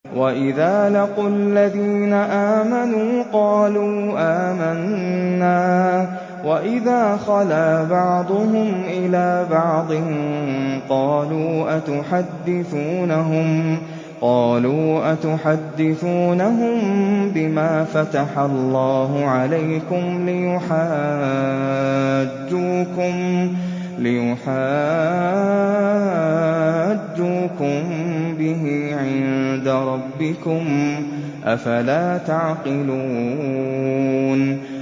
وَإِذَا لَقُوا الَّذِينَ آمَنُوا قَالُوا آمَنَّا وَإِذَا خَلَا بَعْضُهُمْ إِلَىٰ بَعْضٍ قَالُوا أَتُحَدِّثُونَهُم بِمَا فَتَحَ اللَّهُ عَلَيْكُمْ لِيُحَاجُّوكُم بِهِ عِندَ رَبِّكُمْ ۚ أَفَلَا تَعْقِلُونَ